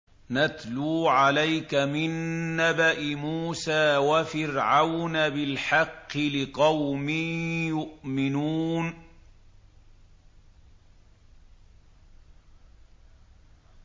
نَتْلُو عَلَيْكَ مِن نَّبَإِ مُوسَىٰ وَفِرْعَوْنَ بِالْحَقِّ لِقَوْمٍ يُؤْمِنُونَ